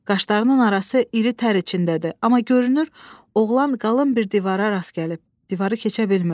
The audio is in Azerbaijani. Qaşlarının arası iri tər içindədir, amma görünür oğlan qalın bir divara rast gəlib, divarı keçə bilmirdi.